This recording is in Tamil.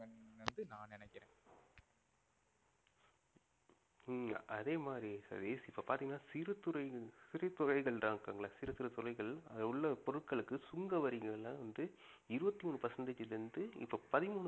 ஹம் அதேமாதிரி சதீஷ் இப்ப பாத்தீங்கன்னா சிறு துறை சிறு துறைகள் தான் இருக்காங்க இல்ல சிறுசிறு துறைகள் அதில் உள்ள பொருட்களுக்கு சுங்க வரிகள்லாம் வந்து இருவத்தி மூணு percentage ல இருந்து இப்ப பதிமூணு